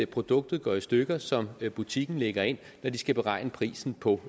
produktet går i stykker som butikken lægger ind når de skal beregne prisen på